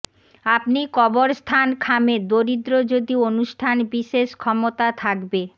আপনি কবরস্থান খামে দরিদ্র যদি অনুষ্ঠান বিশেষ ক্ষমতা থাকবে